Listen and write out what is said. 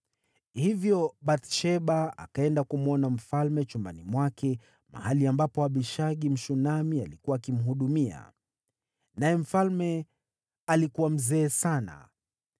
Hivyo Bathsheba akaenda kumwona mfalme chumbani mwake mahali ambapo Abishagi, Mshunami, alikuwa akimhudumia, naye mfalme alikuwa mzee sana.